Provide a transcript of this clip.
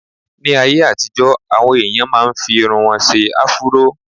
Ní ayé àtijọ́, àwọn èèyàn máa n fi irun wọn ṣe áfúró